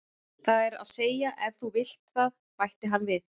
Það er að segja ef þú vilt það, bætti hann við.